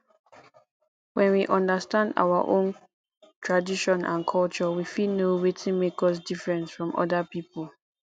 when we understand our own tradition and culture we fit know wetin make us different from oda pipo